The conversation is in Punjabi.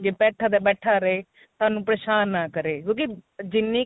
ਜੇ ਬੈਠਾ ਤਾਂ ਬੈਠਾ ਰਹੇ ਸਾਨੂੰ ਪਰੇਸ਼ਾਨ ਨਾ ਕਰੇ ਕਿਉਂਕਿ ਜਿੰਨੀ